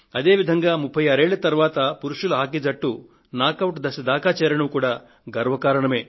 అదే విధంగా 36 సంవత్సరాల తరువాత పురుషుల హాకీ జట్టు నాకౌట్ దశ దాకా చేరడం కూడా గర్వ కారణమే